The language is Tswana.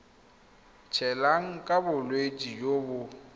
tshelang ka bolwetsi jo bo